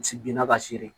Si binna ka se